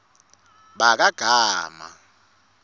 bakagama